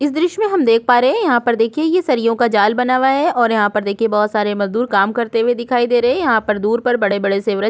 इस दृश्य में हम देख पा रहै हैं यहाँ पर देखिए ये सरियों का जाल बना हुआ है और यहाँ पर देखिए बहुत सारे मजदूर काम करते हुए दिखाई दे रहै हैं यहाँ पर दूर पर बड़े-बड़े से वृक्ष--